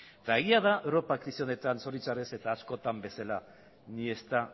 eta egia da europa krisi honetan zoritxarrez eta askotan bezala ni está